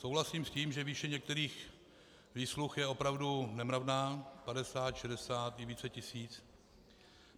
Souhlasím s tím, že výše některých výsluh je opravdu nemravná, 50, 60 i více tisíc.